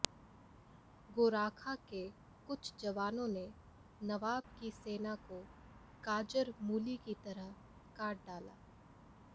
गोराखा के कुछ जवानों ने नवाब की सेना को गाजर मूली की तरह काट डाला